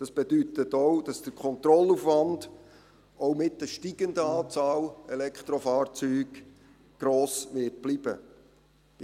Das bedeutet auch, dass der Kontrollaufwand, auch mit der steigenden Anzahl Elektrofahrzeuge, gross bleiben wird.